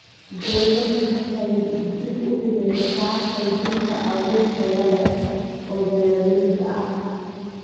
Dawladdu waxay dib u dhigaysaa qaybinta abuur tayo leh oo beeralayda ah.